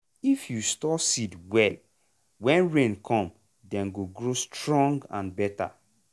if you store seed well when rain come dem go grow strong and better.